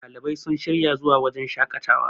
ɗalibai sun shirya zuwa wajen shaƙatawa